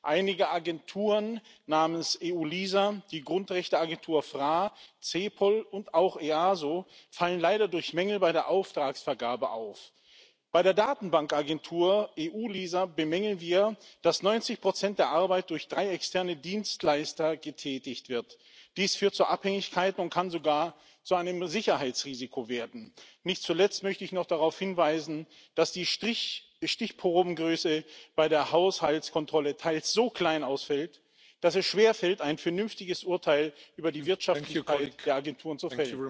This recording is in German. Einige Agenturen, namentlich die eu LISA, die Grundrechteagentur FRA, die CEPOL und auch das EASO, fallen leider durch Mängel bei der Auftragsvergabe auf. Bei der Datenbankagentur eu LISA bemängeln wir, dass 90 Prozent der Arbeit durch drei externe Dienstleister getätigt wird. Dies führt zur Abhängigkeit und kann sogar zu einem Sicherheitsrisiko werden. Nicht zuletzt möchte ich noch darauf hinweisen, dass die Stichprobengröße bei der Haushaltskontrolle teils so klein ausfällt, dass es schwerfällt, ein vernünftiges Urteil über die Wirtschaftlichkeit der Agenturen zu fällen.